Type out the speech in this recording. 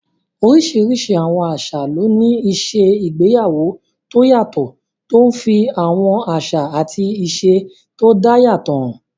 Oríṣiríṣi àwọn àṣà ló ní ìṣe igbéyàwó tó yàtọ̀, tó n fi àwọn àṣà àti ìṣe tó dá yàtọ̀ hàn